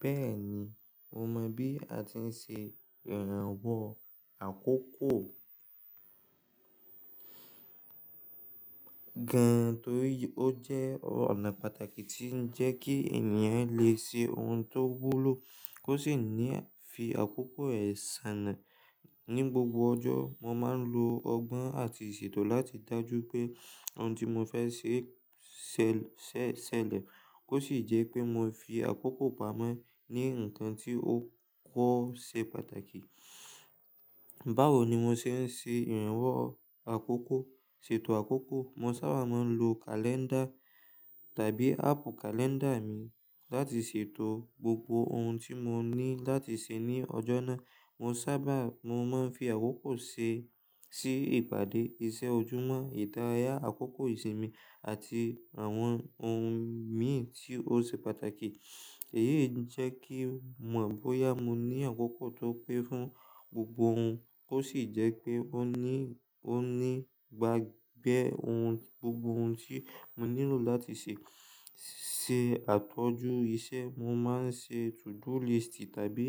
Bẹ́ẹ̀ni, mo mọ̀ bí a ti ń ṣe ìrànwọ́ àkókò gan n torí ó jẹ́ ọ̀nà pàtàkì tí ń jẹ kí ènìyàn lè ṣe ohun tó wúlò. Ó sì ní fi àkókò rẹ̀ sanà. Ni gbogbo ọjọ́, mo máa ń lo ọgbọ́n àti ṣètò láti dájú pé ohun tí mo fẹ́ ṣe ṣẹlẹ̀. Ó sì jẹ́ pé mo fi àkókò pamọ́ ní ǹkan tí ó kò ṣe pàtàkì. Báwo ni mo ṣe ń ṣe ìrànwọ́ àkókò? Ṣètò àkókò. Mo sábà máa ń lo kàléńdà tàbí áàpù kàléńdà mi láti ṣètò gbogbo ohun tí mo ní láti ṣe ní ọjọ́ náà. Mo sábà, mo máa ń fi àkókò ṣe sí ìpàdé, iṣẹ́ ojúmọ́, ìdárayá, àkókò ìsinmi àti àwọn ohun mìí tí ó ṣe pàtàkì. Èyí ń jẹ́ kí mo bóyá mo ní àkókò tó pé fún gbogbo ohun, ó sì jẹ́ pé ó ní, ó ní gba gbẹ̀ ohun, gbogbo ohun tí mo nílò láti ṣe. Se àtọ́jú isẹ́. Mo máa ń ṣe to-do list tàbí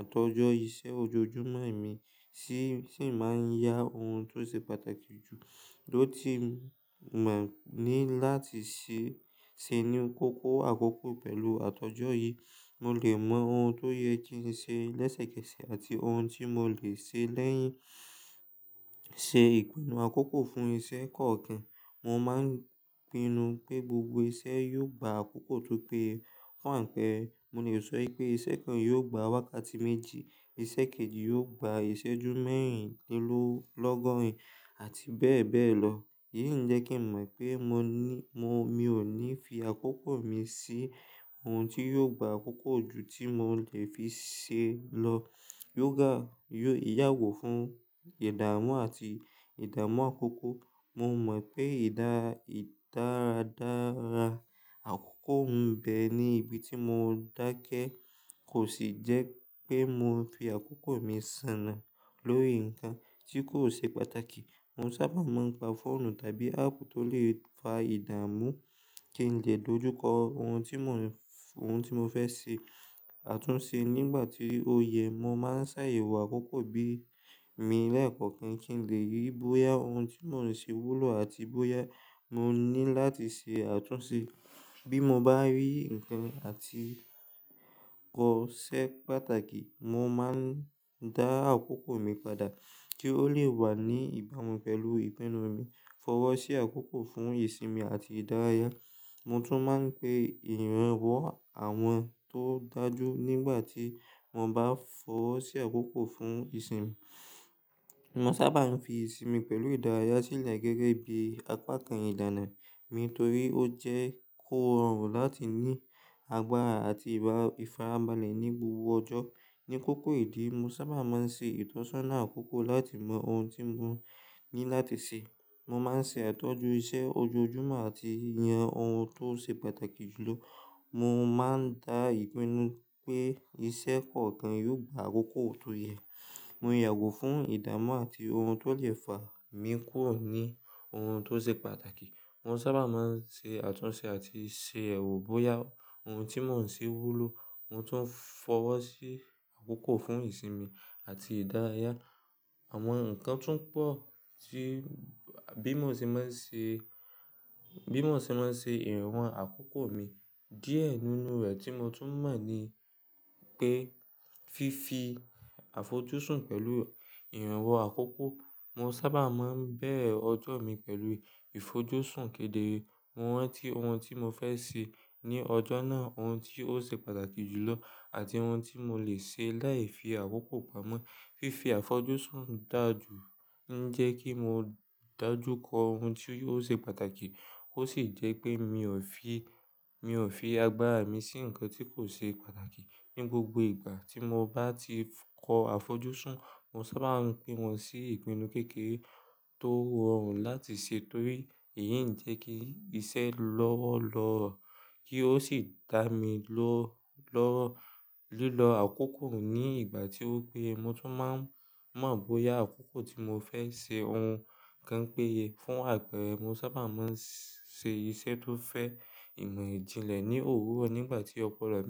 àtọ́jọ́ iṣẹ́ ojoojúmọ́ mi tí, tí ń máa ń yá ohun tó ṣe pàtàkì jù ló ti mọ̀ ní láti ṣe, ṣe ní kókó àkókò pẹ̀lú àtọ́jọ́ yìí. Mo lè mọ ohun tó yẹ kí n ṣe lẹ́sẹ̀kẹsẹ̀ àti ohun tí mo lè ṣe lẹ́yìn. Se ìpinnu àkókò fún iṣẹ́ kọ̀ọ̀kan. Mo máa ń pinnu pé gbogbo iṣẹ́ yóò gba àkókò tó pé yé Fún àpẹẹrẹ, mo lè sọ pé iṣẹ́ kan yóò gba wákàtí méjì, iṣẹ́ kejì yóò gba ìṣẹ́jú mẹ́rìnlọ́gọ́rìn àti bẹ́ẹ̀ bẹ́ẹ̀ lọ. Èyí ń jẹ́ kí n mọ̀ pé mo ní, mo, mi ò ní fi àkókò mi sí ohun tí yóò gba àkókò jù tí mo lè fi ṣe é lọ. Yoga yóò yàgò fún ìdámú àti ìdámú àkókò. Mo mọ̀ pé ìdá, ìdáradára àkókò ń bẹ ní ibi tí mo dákẹ́ kò sì jẹ́ pé mo fi àkókò mi sanà lórí ǹkan tí kò ṣe pàtàkì. Mo sábà máa ń gba fóònù tàbí áàpù tó lè fa ìdámú kí n lè dojúkọ ohun tí mò ń, ohun tí mo fẹ́ ṣe, àtúnṣe nígbà tí ó yẹ. Mo máa ń ṣe ìwà àkókò bí mi lẹ́ẹ̀kọ̀ọ́ kí n lè rí bóyá ohun tí mò ń ṣe wúlò àti bóyá mo ní láti ṣe àtúnṣe. Bí mo bá rí ǹkan àti kò ṣe pàtàkì, mo máa ń dá àkókò mi padà kí ó lè wà ní ìbámu pẹ̀lú ìpinnu mi. Fọwọ́ sí àkókò fún ìsinmi àti ìdárayá. Mo tún máa ń pe ìrànwọ́ àwọn tó dájú nígbà tí mo bá fọwọ́ sí àkókò fún ìsinmi. Mo sábà ń fi ìsinmi pẹ̀lú ìdárayá sílẹ̀ gẹ́gẹ́ bí apá kan ìdáná mi torí ó jẹ́ kó rọrùn láti ní agbára àti ìfaramọ́lẹ̀ ní gbogbo ọjọ́. Ni kókó ìdí, mo sábà máa ń ṣe ìtọ́sọ́nà àkókò láti mọ ohun tí mo ní láti ṣe. Mo máa ń ṣe àtọ́jú isẹ́ ojoojúmọ́ àti yàn ohun tó ṣe pàtàkì jù lọ. Mo máa ń dá ìpinnu pé iṣẹ́ kọ̀ọ̀kan yóò gba àkókò tó yẹ. Mo yàgò fún ìdámú àti ohun tó lè fà mí kúrò ní ohun tó ṣe pàtàkì. Mo sábà máa ń ṣe àtúnṣe àti ṣe èwù bóyá ohun tí mò ń ṣe wúlò, ohun tó ń fọwọ́ sí àkókò fún ìsinmi àti ìdárayá. Àwọn ǹkan tún pọ̀ tí bí mo ṣe máa ń ṣe, bí mo ṣe máa ń ṣe ìrànwọ́ àkókò mi. Díẹ̀ nínú rẹ̀ tí mo tún mọ̀ ní pé fífi àfojúsùn pẹ̀lú ìrànwọ́ àkókò. Mo sábà máa ń bẹ̀ ọjọ́ mi pẹ̀lú ìfojúsùn kedere. Mo rántí ohun tí mo fẹ́ ṣe ní ọjọ́ náà, ohun tí ó ṣe pàtàkì jù lọ àti ohun tí mo lè ṣe láì fi àkókò pamọ́. Fífi àfojúsùn dájú ń jẹ́ kí mo dájú kọ ohun tí yóò ṣe pàtàkì. Ó sì jẹ́ pé mi ò fi, mi ò fi agbára mi sí ǹkan tí kò ṣe pàtàkì. Ni gbogbo ìgbà tí mo bá ti kọ àfojúsùn, mo sábà ń pín wọn sí ìpinnu kékeré tó rọrùn láti ṣe torí èyí ń jẹ́ kí iṣẹ́ lọ́wọ́ lọ, kí ó sì dá mi lọ́, lọ lílọ àkókò ní ìgbà tí ó pé ye. Mo tún máa ń mọ̀ bóyá àkókò tí mo fẹ́ ṣe ohun kan pé ye. Fún àpẹẹrẹ, mo sábà máa ń ṣe iṣẹ́ tó fẹ́ ìmọ̀-ìjìnlẹ̀ ní òwúrọ̀ nígbà tí ópolo.